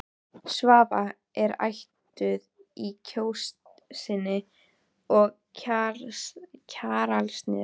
Svava er ættuð úr Kjósinni og af Kjalarnesi.